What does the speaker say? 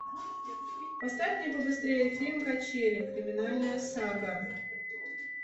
поставь мне побыстрее фильм качели криминальная сага